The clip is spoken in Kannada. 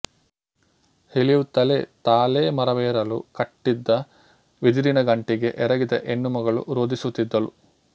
ಇಳಿಯುತ್ತಲೇ ತಾಳೆಮರವೇರಲು ಕಟ್ಟಿದ ಬಿದಿರಿನ ಗಂಟಿಗೆ ಎರಗಿದ ಹೆಣ್ಣಮಗಳು ರೋಧಿಸುತ್ತಿದ್ದಳು